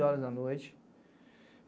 onze horas da noite.